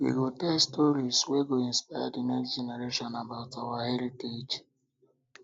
we um go tell stories um wey go inspire the next generation about um our heritage